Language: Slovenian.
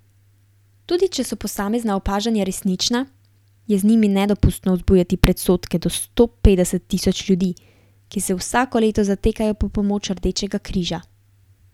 Tudi če so posamezna opažanja resnična, je z njimi nedopustno vzbujati predsodke do sto petdeset tisoč ljudi, ki se vsako leto zatekajo po pomoč Rdečega križa.